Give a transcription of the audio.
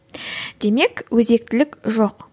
демек өзектілік жоқ